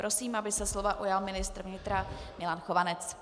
Prosím, aby se slova ujal ministr vnitra Milan Chovanec.